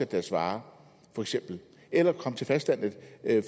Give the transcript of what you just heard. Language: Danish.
deres varer eller komme til fastlandet